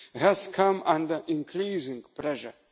has come under increasing pressure.